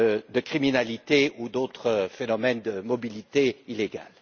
de criminalité ou d'autres phénomènes de mobilité illégale.